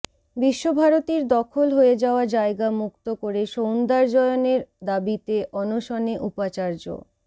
বিশ্বভারতীর দখল হয়ে যাওয়া জায়গা মুক্ত করে সৌন্দর্যায়নের দাবিতে অনশনে উপাচার্য